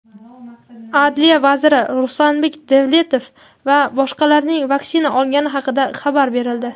Adliya vaziri Ruslanbek Davletov va boshqalarning vaksina olgani haqida xabar berildi.